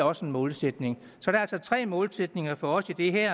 også en målsætning så der er altså tre målsætninger for os i det her